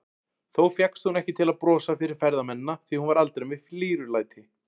Þó fékkst hún ekki til að brosa fyrir ferðamennina, því hún var aldrei með flírulæti.